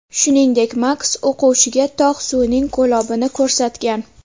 Shuningdek, Maks o‘quvchiga tog‘ suvining ko‘lobini ko‘rsatgan.